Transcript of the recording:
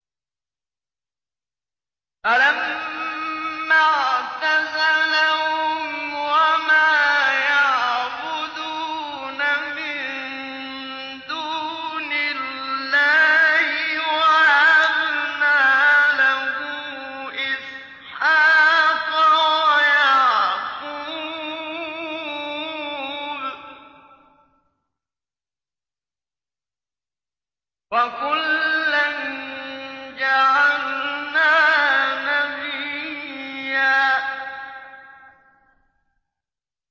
فَلَمَّا اعْتَزَلَهُمْ وَمَا يَعْبُدُونَ مِن دُونِ اللَّهِ وَهَبْنَا لَهُ إِسْحَاقَ وَيَعْقُوبَ ۖ وَكُلًّا جَعَلْنَا نَبِيًّا